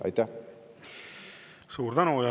Suur tänu!